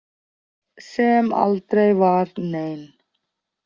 Sem aldrei var nein.